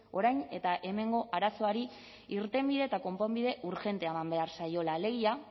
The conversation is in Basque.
orain eta hemengo arazoari irtenbide eta konponbide urgentea eman behar zaiola alegia